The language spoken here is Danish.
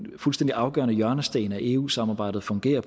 fuldstændig afgørende hjørnesten af eu samarbejdet fungerer